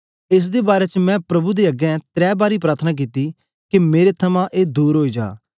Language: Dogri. एस दे बारै च मैं प्रभु दे अगें त्रै बारी प्रार्थना कित्ती के मेरे थमां ए दूर ओई जा